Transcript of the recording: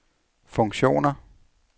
funktioner